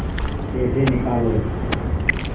पैसे निकालो